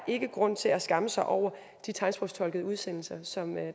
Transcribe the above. grund til at skamme sig over de tegnsprogstolkede udsendelser som